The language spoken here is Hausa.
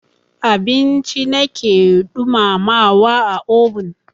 Abinci na ke ɗumamawa a obin.